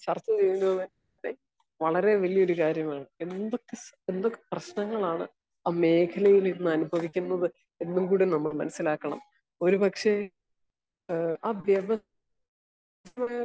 Speaker 1 ചർച്ച ചെയ്യുന്നത് വളരെ വലിയ്യൊരു കാര്യമാണ്. രണ്ട് പ്രശ്നങ്ങളാണ് ഈ മേഖലയിൽ നിന്ന് അനുഭവിക്കുന്നത് എന്നും കൂടെ നമ്മൾ മനസ്സിലാക്കണം. ഒരു പക്ഷെ ഏഹ് ആഗവ ഒരു